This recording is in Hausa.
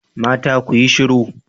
Mata ku yi shiru